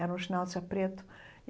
Era um preto.